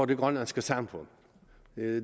det grønlandske samfund